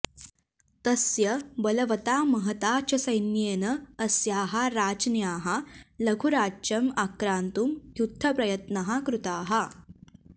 तस्य बलवता महता च सैन्येन अस्याः राज्ञ्याः लघुराज्यम् आक्रान्तुं युद्धप्रयत्नः कृतः